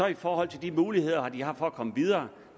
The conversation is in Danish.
i forhold til de muligheder de har for at komme videre